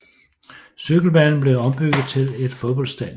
Cykelbanen blev ombygget til et fodboldstadion